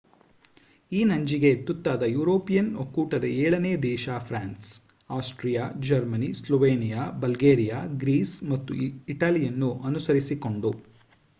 ಈ ನಂಜಿಗೆ ತುತ್ತಾದ ಯುರೋಪಿಯನ್ ಒಕ್ಕೂಟದ ಏಳನೇ ದೇಶ France Austria Germany Slovenia Bulgaria Greece ಮತ್ತು ಇಟಲಿಯನ್ನು ಅನುಸರಿಸಿಕೊಂಡು